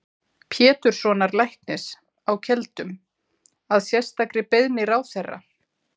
Péturssonar læknis á Keldum, að sérstakri beiðni ráðherra.